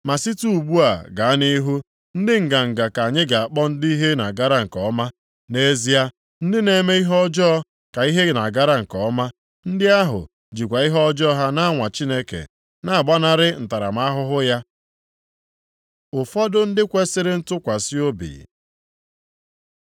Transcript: Ma site ugbu a gaa nʼihu, ndị nganga ka anyị ga-akpọ ndị ihe na-agara nke ọma. Nʼezie, ndị na-eme ihe ọjọọ ka ihe na-agara nke ọma. Ndị ahụ jikwa ihe ọjọọ ha na-anwa Chineke na-agbanarị ntaramahụhụ ya.’ ” Ụfọdụ ndị kwesiri ntụkwasị obi